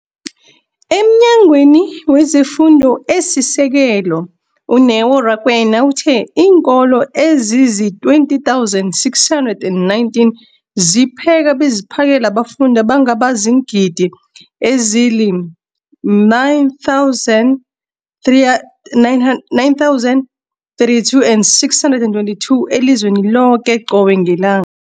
EmNyangweni wezeFundo esiSekelo, u-Neo Rakwena, uthe iinkolo ezizi-20 619 zipheka beziphakele abafundi abangaba ziingidi ezili-9 032 622 elizweni loke qobe ngelang